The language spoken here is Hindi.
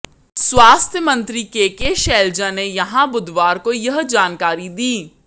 स्वास्थ्य मंत्री के के शैलजा ने यहां बुधवार को यह जानकारी दी